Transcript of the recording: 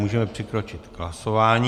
Můžeme přikročit k hlasování.